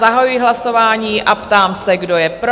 Zahajuji hlasování a ptám se, kdo je pro?